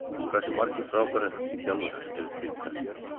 Hversu margir frábærir enskir þjálfarar eru til í dag?